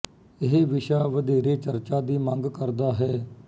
ਇਹ ਵਿਸ਼ਾ ਵਧੇਰੇ ਚਰਚਾ ਦੀ ਮੰਗ ਕਰਦਾ ਹੈ